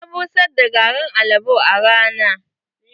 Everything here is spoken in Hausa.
Na busar da garin albo a rana.